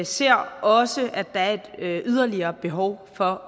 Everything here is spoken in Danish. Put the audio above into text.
ser også at der er et yderligere behov for